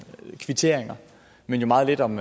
kvitteringer men meget lidt om